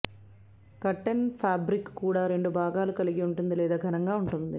curtain fabric కూడా రెండు భాగాలను కలిగి ఉంటుంది లేదా ఘనంగా ఉంటుంది